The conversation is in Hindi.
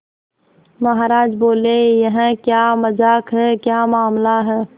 महाराज बोले यह क्या मजाक है क्या मामला है